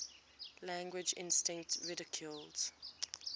language instinct ridiculed